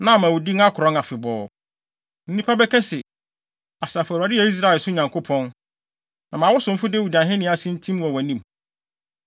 na ama wo din akorɔn afebɔɔ. Na nnipa bɛka se, ‘Asafo Awurade yɛ Israel so Nyankopɔn.’ Na ma wo somfo Dawid ahenni ase ntim wɔ wʼanim.